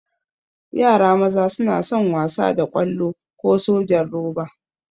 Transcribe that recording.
Yara maza suna son wasa da ƙwallo ko sojan roba.